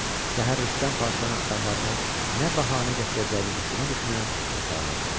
Səhər Rüstəm Padşahın adamlarına nə bəhanə gətirəcəyini düşünə-düşünə yatağına uzandı.